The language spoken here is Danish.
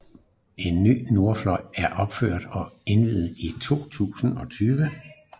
En ny Nordfløj er opført og indvies i 2020